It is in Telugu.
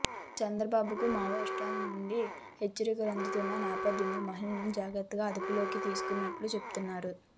చంద్రబాబుకు మావోయిస్టుల నుండి హెచ్చరికలందుతున్న నేపథ్యంలో మహిళను ముందు జాగ్రత్తగా అదుపులోకి తీసుకున్నట్లు చెబుతున్నారు